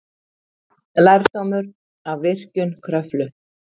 Lærdómur af virkjun Kröflu